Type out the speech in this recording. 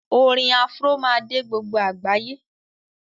Orin Afro má dé gbogbo àgbáyé